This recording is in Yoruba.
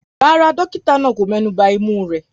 Rárá, dókítà náà kò mẹ́nuba imú rẹ̀.